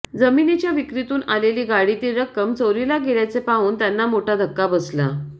जमिनीच्या विक्रीतून आलेली गाडीतील रक्कम चोरीला गेल्याचे पाहून त्याना मोठा धक्का बसला